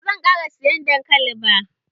Ba zan ƙara siyan dankali ba.